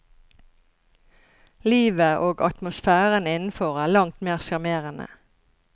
Livet og atmosfæren innenfor er langt mer sjarmerende.